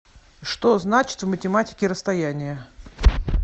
что значит в математике расстояние